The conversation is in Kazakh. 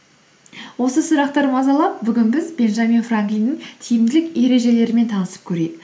осы сұрақтар мазалап бүгін біз бенджамин франклиннің тиімділік ережелерімен танысып көрейік